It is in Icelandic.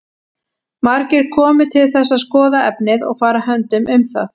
Margir komu til þess að skoða efnið og fara höndum um það.